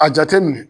A jateminɛ